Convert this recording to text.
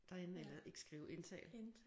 Derinde eller ikke skrive indtale